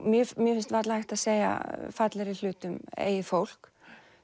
mér mér finnst varla hægt að segja fallegri hlut um eigið fólk